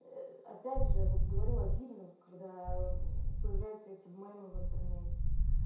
опять же вот говорю обидно когда появляются эти мемы в интернете